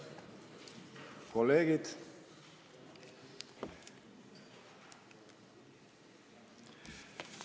Kolleegid!